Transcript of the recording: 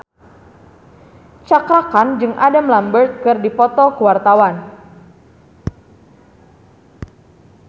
Cakra Khan jeung Adam Lambert keur dipoto ku wartawan